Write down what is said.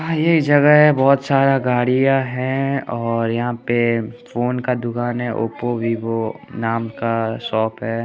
यह जगह है बहुत सारा गाड़ियां है और यहां पे फोन का दुकान है ओप्पो वीवो नाम का शॉप है।